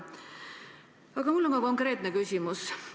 Aga mul on ka konkreetne küsimus.